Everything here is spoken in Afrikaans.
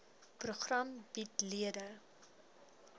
program bied lede